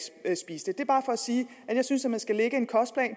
kan spise det det er bare for at sige at jeg synes at man skal lave en kostplan